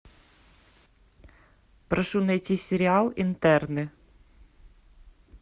прошу найти сериал интерны